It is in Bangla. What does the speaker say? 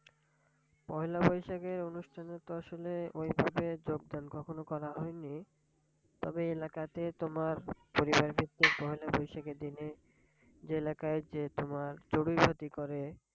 পয়লা বৈশাখের অনুষ্ঠানে তো আসলে ওইভাবে যোগদান কখনো করা হয়নি। তবে এলাকাতে তোমার পরিবার ভিত্তিক পয়লা বৈশাখের দিনে যে এলাকায় যে তোমার চড়ুইভাতি করে,